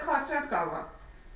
Mən də kartira da qalıram.